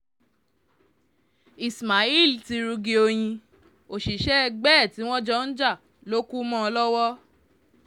ismail ti rugi oyin òṣìṣẹ́ ẹgbẹ́ ẹ̀ tí wọ́n jọ ń jà ló kù mọ́ ọn lọ́wọ́